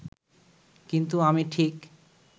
কিন্তু আমি ঠিক